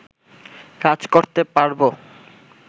কাজ করতে পারব